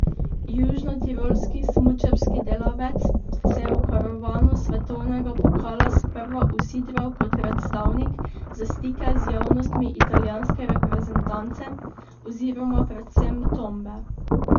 Južnotirolski smučarski delavec se je v karavano svetovnega pokala sprva usidral kot predstavnik za stike z javnostmi italijanske reprezentance oziroma predvsem Tombe.